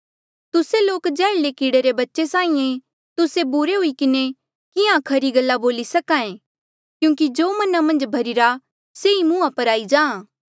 तुस्से लोक जैहर्ले कीड़े रे बच्चे साहीं ऐें तुस्से बुरे हुई किन्हें किहाँ खरी गल्ला बोली सक्हा ऐें क्यूंकि जो मना मन्झ भर्हीरा से ई मुंहा पर आई जाहाँ